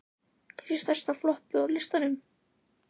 Kannski stærsta floppið á listanum?